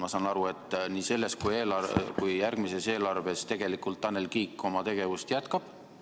Ma saan aru, et nii selles kui ka järgmises eelarves Tanel Kiik oma tegevust jätkab.